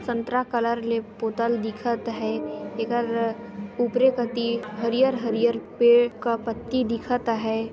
संतरा कलर ले पोतल दिखत हे एकर ऊपरे कति हरिहर हरिहर पेड़ का पत्ती दिखत अहय।